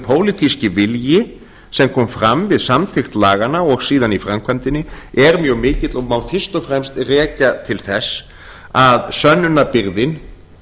pólitíski vilji sem kom fram við samþykkt laganna og síðan í framkvæmdinni er mjög mikill og má fyrst og fremst rekja til þess að sönnunarbyrðin